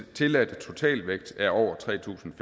tilladte totalvægt er over tre tusind